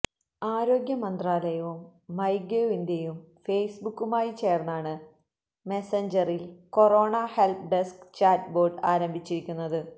ആരോഗ്യ മന്ത്രാലയവും മൈഗേവ് ഇന്ത്യയും ഫേസ്ബുക്കുമായി ചേർന്നാണ് മെസഞ്ചറിൽ കൊറോണ ഹെൽപ്പ് ഡെസ്ക് ചാറ്റ്ബോട്ട് ആരംഭിച്ചിരിക്കുന്നത്